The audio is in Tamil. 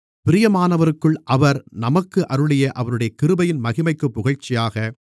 பிரியமானவருக்குள் அவர் நமக்கு அருளிய அவருடைய கிருபையின் மகிமைக்குப் புகழ்ச்சியாக